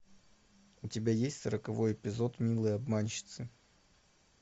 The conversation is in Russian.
у тебя есть сороковой эпизод милые обманщицы